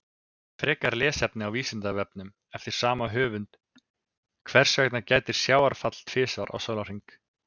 Frekara lesefni á Vísindavefnum eftir sama höfund: Hvers vegna gætir sjávarfalla tvisvar á sólarhring?